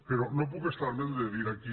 però no puc estar me’n de dir aquí